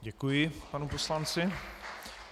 Děkuji panu poslanci.